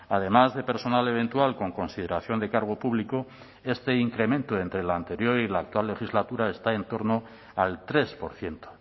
además de personal eventual con consideración de cargo público este incremento entre la anterior y la actual legislatura está en torno al tres por ciento